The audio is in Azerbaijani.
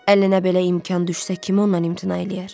Əlinə belə imkan düşsə kim ondan imtina eləyər?